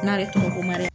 N'ale tɔgɔ ko maiga